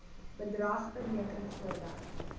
bedrag bereken voordat